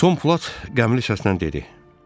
Tom Platt qəmli səslə dedi.